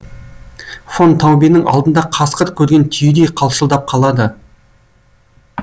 фон таубенің алдында қасқыр көрген түйедей қалшылдап қалады